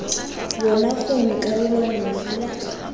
yona gongwe karolo nngwe fela